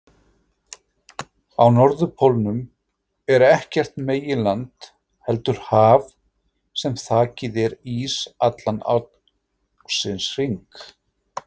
Á norðurpólnum er ekkert meginland heldur haf sem þakið er ís allan ársins hring.